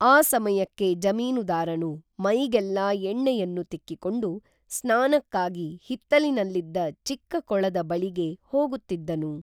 ಆ ಸಮಯಕ್ಕೆ ಜಮೀನುದಾರನು ಮೈಗೇಲ್ಲಾ ಎಣ್ಣೆಯನ್ನು ತಿಕ್ಕಿಕೊಂಡು ಸ್ನಾನಕ್ಕಾಗಿ ಹಿತ್ತಲಿನಲ್ಲಿದ್ದ ಚಿಕ್ಕ ಕೊಳದ ಬಳಿಗೆ ಹೋಗುತ್ತಿದ್ದನು